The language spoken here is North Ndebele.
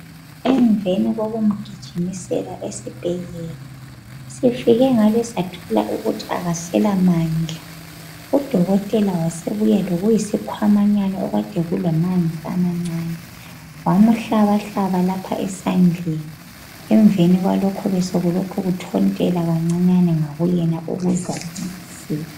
emveni kokumgijimisela esibhedlela sifike ngale sathola ukuthi akasela mandla u dokotela wasebuya lokuyisikhwamanyana ade kulamanzana amancane wamuhlabhlaba lapha esandleni eveni kwalokho besekulokhe kuthontela kancinyane ngakuyena